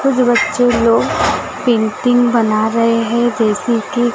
कुछ बच्चे लोग पेंटिंग बना रहे हैं जैसे की--